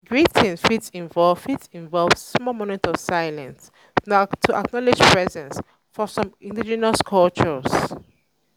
greeting fit involve fit involve small moment of silence um to acknowledge presence um for some indigenous cultures.